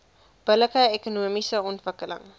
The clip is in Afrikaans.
billike ekonomiese ontwikkeling